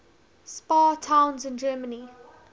spa towns in germany